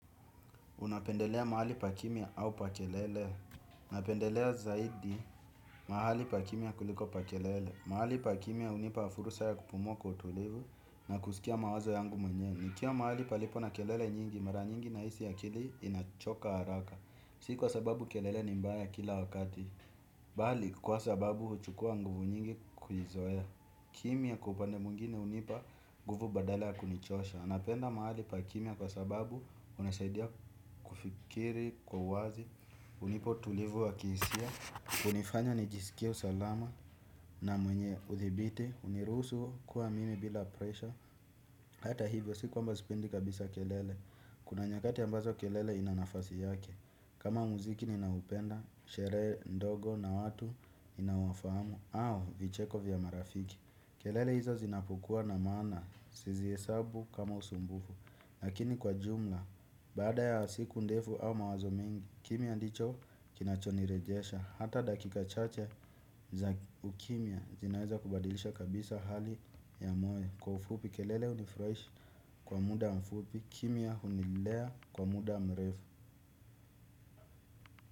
Unapendelea mahali pa kimya au pa kelele. Napendelea zaidi mahali pa kimya kuliko pa kelele. Mahali pa kimya unipa fursa ya kupumua kwa utulivu na kusikia mawazo yangu mwenyewe. Nikiwa mahali palipo na kelele nyingi mara nyingi nahisi akili inachoka haraka. Si kwa sababu kelele ni mbaya kila wakati. Bali kwa sababu huchukua nguvu nyingi kujizoea. Kimya kwa upande mwingine unipa nguvu badala ya kunichosha. Anapenda mahali pa kimya kwa sababu hunisaidia kufikiri kwa wazi. Unipa utulivu wa kihisia. Unifanya nijisikie usalama na mwenye uthibiti. Uniruhusu kuwa mimi bila presha. Hata hivyo si kwamba sipendi kabisa kelele. Kuna nyakati ambazo kelele ina nafasi yake kama muziki ninaupenda, sherehe ndogo na watu ninawafamu au vicheko vya marafiki kelele hizo zinapokua na masna sizihesabu kama usumbufu. Lakini kwa jumla, baada ya siku ndefu au mawazo mingi, kimya ndicho kinachonirejesha, hata dakika chache za ukimya zinaweza kubadilisha kabisa hali ya moyo, kwa ufupi kelele unifresh kwa muda mfupi, kimya hunilea kwa muda mrefu.